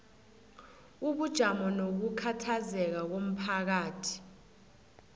ubujamo nokukhathazeka komphakathi